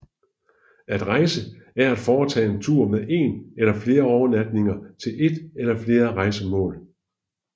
At rejse er at foretage en tur med én eller flere overnatninger til ét eller flere rejsemål